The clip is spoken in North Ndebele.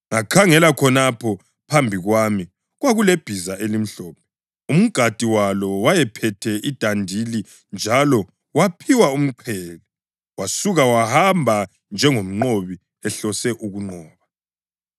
Ngakhangela, khonapho phambi kwami kwakulebhiza elimhlophe! Umgadi walo wayephethe idandili njalo waphiwa umqhele, wasuka wahamba njengomnqobi ehlose ukunqoba.